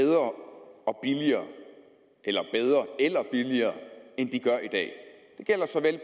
bedre og billigere eller bedre eller billigere end de gør i dag det gælder såvel